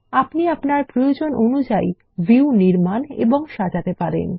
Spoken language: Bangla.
আপনি আপনার প্রয়োজন অনুযায়ী ভিউ নির্মাণ ও সাজাতে পারেন